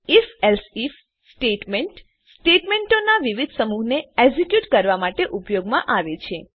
IfElse if statement સ્ટેટમેંટોનાં વિવિધ સમૂહને એક્ઝેક્યુટ કરવા માટે ઉપયોગમાં આવે છે